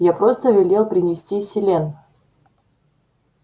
я просто велел принести селен